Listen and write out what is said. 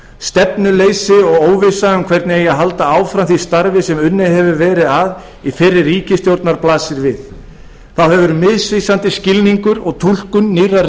stefnuleysi og óvissa um hvernig eigi að halda áfram því starfi sem unnið hefur verið að í fyrri ríkisstjórn blasir við þá hefur misvísandi skilningur og túlkun nýrrar